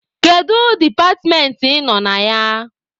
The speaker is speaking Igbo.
Kedu departmentị ị nọ na ya?